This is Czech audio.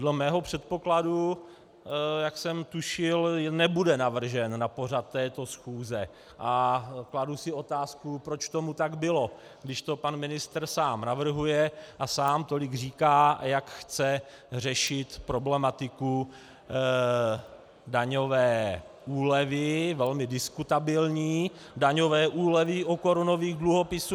Dle mého předpokladu, jak jsem tušil, nebude navržen na pořad této schůze, a kladu si otázku, proč tomu tak bylo, když to pan ministr sám navrhuje a sám tolik říká, jak chce řešit problematiku daňové úlevy, velmi diskutabilní daňové úlevy u korunových dluhopisů...